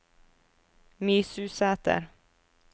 Mysusæter